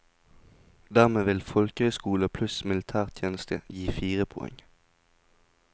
Dermed vil folkehøyskole pluss militærtjeneste gi fire poeng.